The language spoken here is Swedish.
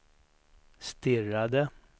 stirrade